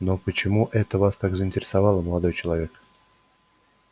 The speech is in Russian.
но почему это вас так заинтересовало молодой человек